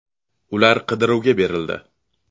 Ular qidiruvga berildi.